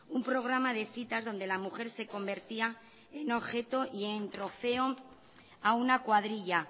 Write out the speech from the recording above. un programa de citas donde la mujer se convertía en objeto y trofeo a una cuadrilla